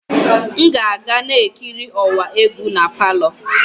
M ga-aga na-ekiri ọwa egwu na palọ.